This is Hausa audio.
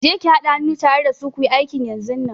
Je ki hada hannu tare da su kuyi aikin yanzunnan!